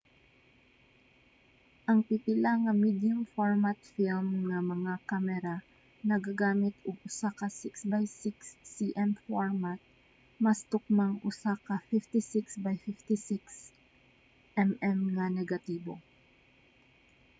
ang pipila nga medium-format film nga mga kamera nagagamit og usa ka 6 by 6 cm format mas tukmang usa ka 56 by 56 mm nga negatibo